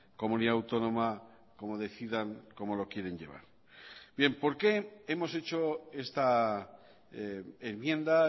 comunidad autónoma como decidan cómo lo quieren llevar bien por qué hemos hecho esta enmienda